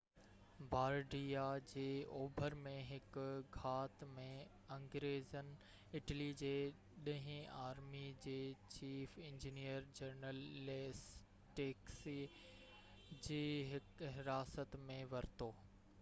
بارڊيا جي اوڀر ۾ هڪ گهات ۾ انگريزن اٽلي جي ڏهين آرمي جي چيف انجنيئر جنرل ليسٽڪسي کي حراست ۾ ورتو